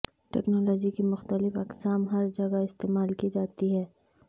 technology کی مختلف اقسام ہر جگہ استعمال کی جاتی ہیں